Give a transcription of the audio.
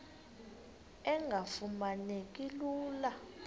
engafuma neki lula